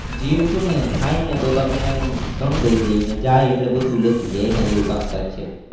જીરું છે ને થાય ને તો તમને ઘણું દઈ દે ને જાય એટલે બધુ લેતું જાય એના જેવુ કામકાજ છે.